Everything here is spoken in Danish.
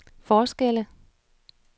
forskelle